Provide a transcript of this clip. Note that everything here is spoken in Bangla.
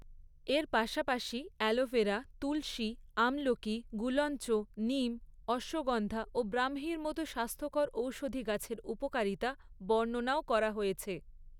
এর পাশাপাশি অ্যালোভেরা, তুলসী, আমলকি, গুলঞ্চ, নিম, অশ্বগন্ধা ও ব্ৰাহ্মীর মতো স্বাস্থ্যকর ঔষধি গাছের উপকারিতা বর্ণনাও করা হয়েছে।